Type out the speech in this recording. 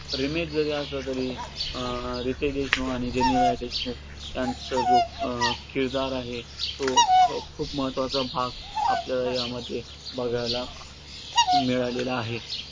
पण remake जरी असला तरी अं रितेश देशमुख आणि जेनेलीया देशमुख यांचा जो अं किरदार आहे, तो अं खूप महत्वाचा भाग आपल्याला यामध्ये बघायला मिळालेला आहे.